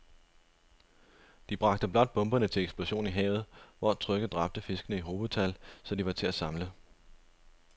De bragte blot bomberne til eksplosion i havet, hvor trykket dræbte fiskene i hobetal, så de var til at samle